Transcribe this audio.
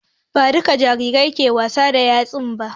Ba dukka jarirai ke wasa da 'yar tsana ba